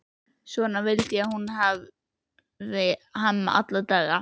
Svona vildi hún hafa Hemma alla daga.